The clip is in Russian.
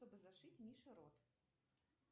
чтобы зашить мише рот